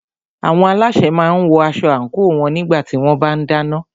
Àwọn alásè máà ń wọ aṣọ àńkò wọn nígbà tí wọ́n bá ń dáná.